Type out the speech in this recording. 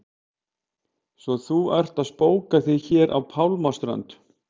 Svo að þú ert að spóka þig hér á pálmanna strönd!